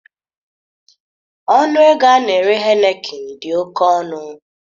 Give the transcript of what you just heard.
Ọnụ ego a na-ere Heineken dị oke ọnụ